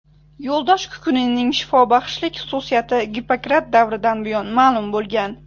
Yo‘ldosh kukunining shifobaxshlik xususiyati Gippokrat davridan buyon ma’lum bo‘lgan.